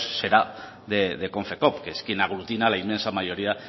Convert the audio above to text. será de konfekoop que es quien aglutina la inmensa mayoría